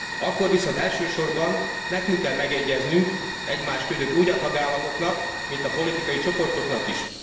Akkor viszont elsősorban nekünk kell megegyeznünk egymás között úgy a tagállamoknak, mint a politikai csoportoknak is.